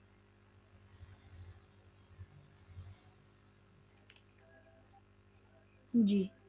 ਜੀ।